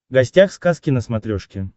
гостях сказки на смотрешке